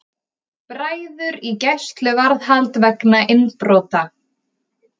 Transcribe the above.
Bræður í gæsluvarðhald vegna innbrota